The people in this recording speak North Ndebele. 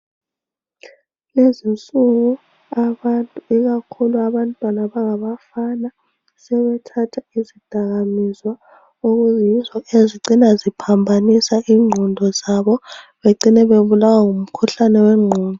Lezinsuku abantu ikakhulu abantwana abangabafana sebethatha izidakamizwa okuyizo ezicina ziphambanisa ingqondo zabo becine babulawa ngumkhuhlane wengqondo.